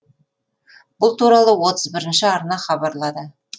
бұл туралы отыз бірінші арна хабарлады